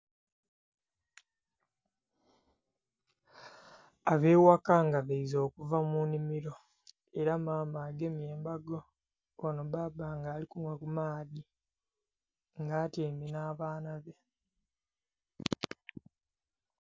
Abeghaka nga baize okuva munhimiro era maama agemye embago ghano bbabba nga ali kunhwa kumaadhi nga atyaime n'abaana be.